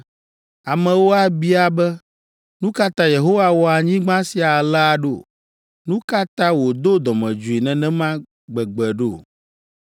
Amewo abia be, “Nu ka ta Yehowa wɔ anyigba sia alea ɖo? Nu ka ta wòdo dɔmedzoe nenema gbegbe ɖo?”